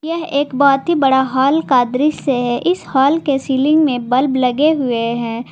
यह एक बहुत ही बड़ा हाल का दृश्य है इस हाल के सीलिंग में बल्ब लगे हुए हैं।